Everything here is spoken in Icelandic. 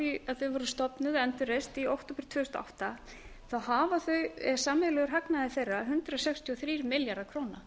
að þau voru stofnuð og endurreist í október tvö þúsund og átta hefur sameiginlegur hagnaður þeirra verið um hundrað sextíu og þrír milljarðar króna